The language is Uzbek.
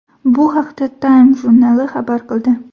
Bu haqda Time jurnali xabar qildi .